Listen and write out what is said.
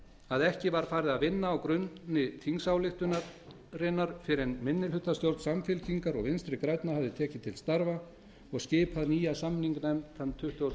að ekki var farið að vinna á grunni þingsályktunarinnar fyrr en minnihlutastjórn samfylkingar og vinstri grænna hafði tekið til starfa og skipað nýja samninganefnd þann tuttugasta og